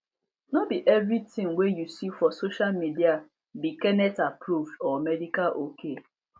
no be everything wey you see for social media be kennethapproved or medical ok